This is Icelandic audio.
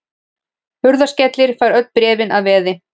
Hurðaskellir fær öll bréfin að veði.